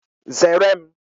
Zere m!